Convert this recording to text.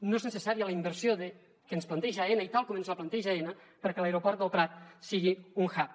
no és necessària la inversió que ens planteja aena i tal com ens la planteja aena perquè l’aeroport del prat sigui un hub